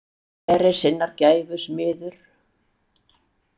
Hver er sinnar gæfu smiður?